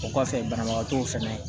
O kɔfɛ banabagatɔw fɛnɛ